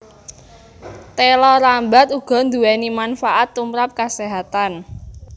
Téla rambat uga nduwéni manfaat tumrap kaséhatan